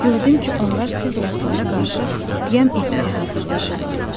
Gördüm ki, onlar siz ruslara qarşı qiyam etməyə hazırlaşırlar.